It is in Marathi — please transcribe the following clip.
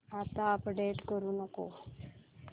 आता अपडेट करू नको